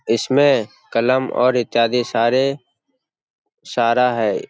इसमें कलम और इत्यादि सारे सारा है।